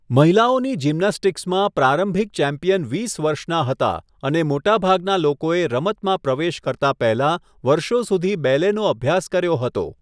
મહિલાઓની જિમ્નાસ્ટિક્સમાં પ્રારંભિક ચેમ્પિયન વીસ વર્ષના હતા અને મોટાભાગના લોકોએ રમતમાં પ્રવેશ કરતા પહેલા વર્ષો સુધી બેલેનો અભ્યાસ કર્યો હતો.